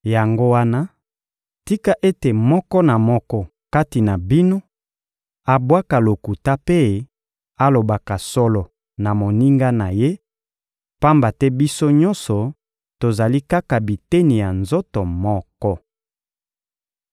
Yango wana, tika ete moko na moko kati na bino abwaka lokuta mpe alobaka solo na moninga na ye, pamba te biso nyonso tozali kaka biteni ya nzoto moko.